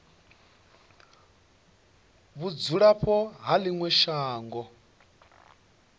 vhudzulapo ha ḽi ṅwe shango